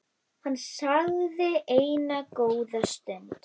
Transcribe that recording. Hann þagði enn góða stund.